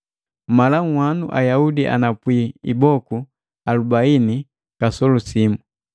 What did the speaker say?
Mala nhwanu Ayaudi anapwi iboku alubaini kasolu simu.